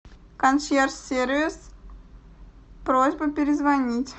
консьерж сервис просьба перезвонить